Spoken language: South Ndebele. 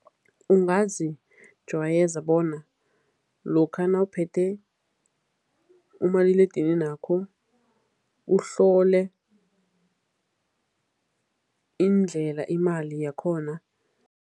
Ungazijwayeza bona lokha nawuphethe umaliledininakho, uhlole indlela imali yakhona.